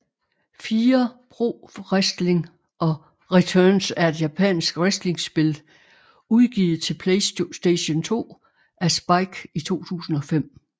Fire Pro Wrestling Returns er et japansk wrestlingspil udgivet til PlayStation 2 af Spike i 2005